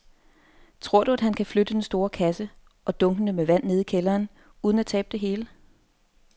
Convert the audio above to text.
Tror du, at han kan flytte den store kasse og dunkene med vand ned i kælderen uden at tabe det hele?